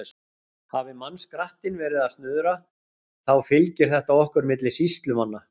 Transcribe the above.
Hafi mannskrattinn verið að snuðra, þá fylgir þetta okkur milli sýslumanna.